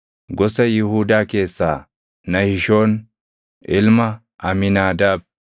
gosa Yihuudaa keessaa Nahishoon ilma Amiinaadaab;